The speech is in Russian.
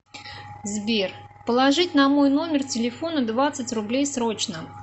сбер положить на мой номер телефона двадцать рублей срочно